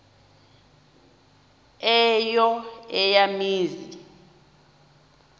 eyo eya mizi